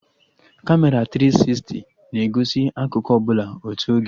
Kamera tiri sisti na-egosi akụkụ ọbụla otu oge